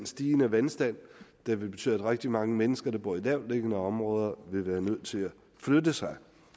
stigende vandstand der vil betyde at rigtig mange mennesker der bor i lavtliggende områder vil være nødt til at flytte sig